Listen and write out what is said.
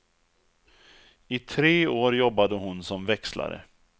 I tre år jobbade hon som växlare.